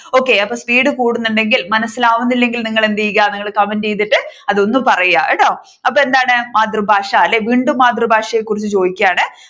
okay അപ്പൊ speed കൂടുന്നുണ്ടെങ്കിൽ മനസിലാവുന്നില്ലെങ്കിൽ എന്ത് ചെയ്യുക comment ചെയ്തിട്ട് അതൊന്ന് പറയുക. കട്ടോ. അപ്പൊ എന്താണ് മാതൃഭാഷ അല്ലെ വീണ്ടും മാതൃഭാഷയെ കുറിച്ച് ചോദിക്കുകയാണ്